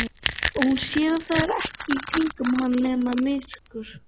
Og hún sér að það er ekkert í kringum hana nema myrkur.